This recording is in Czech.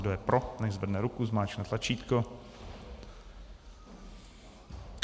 Kdo je pro, nechť zvedne ruku, zmáčkne tlačítko.